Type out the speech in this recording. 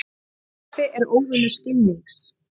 Ofstopi er óvinur skilnings.